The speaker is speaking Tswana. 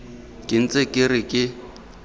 ke ntse ke re ke